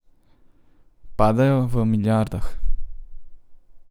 Padajo v milijardah.